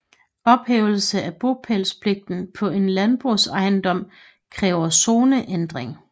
Ophævelse af bopælspligten på en landbrugsejendom kræver zoneændring